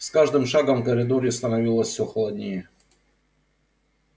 с каждым шагом в коридоре становилось всё холоднее